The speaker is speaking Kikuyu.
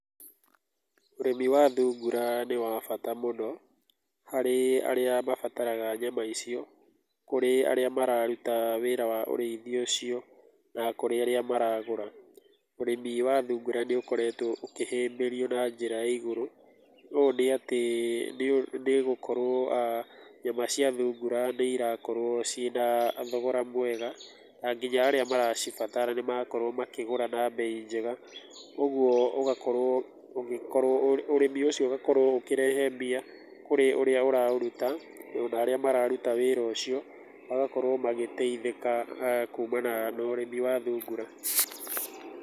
Ũrĩmi wa thungura nĩ wa bata mũno, harĩ arĩa mabataraga nyama icio, kũrĩ arĩa mararuta wĩra wa ũrĩithia ucio, na kũrĩ arĩa maragũra. Ũrĩmi wa thungura nĩ ũkoretwo ũkĩhĩmbĩrio ĩ igũrũ, ũũ nĩ atĩ nĩ gũkorwo nyama cia thungura nĩ irakorwo ciĩna thogora mwega, na nginya arĩa maracibatara nĩ marakorwo makĩgũra na mbei njega, ũguo ũgakorwo ũgĩkorwo, ũrĩmi ũcio ũgakorwo ũkĩrehe mbia kũrĩ ũrĩa ũraũruta, ona arĩa mararuta wĩra ũcio magakorwo magĩteithĩka kumana na ũrĩmi wa thungura.